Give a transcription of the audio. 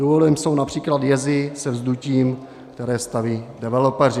Důvodem jsou například jezy se vzdutím, které staví developeři.